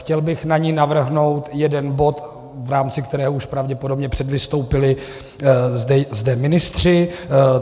Chtěl bych na ni navrhnout jeden bod, v rámci kterého už pravděpodobně předvystoupili zde ministři.